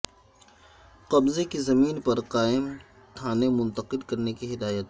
قبضے کی زمین پر قائم تھانے منتقل کرنے کی ہدایت